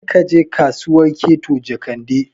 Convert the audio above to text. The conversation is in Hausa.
Kar ka je Kasuwar Keto Jekande!